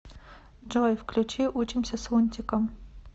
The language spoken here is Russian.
джой включи учимся с лунтиком